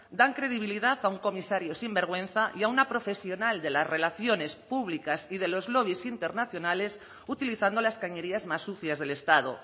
dan credibilidad a un comisario sinvergüenza y a una profesional de las relaciones públicas y de los lobys internacionales utilizando las cañerías más sucias del estado